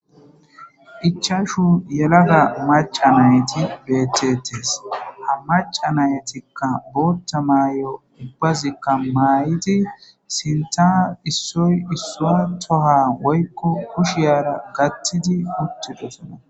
ichashu yelaga maca nayti betetes ha maca naytikka bootta maay7o ubbazikka maay7idi sinta issoy issua toha woykko kushiyaara gattidi huttidesona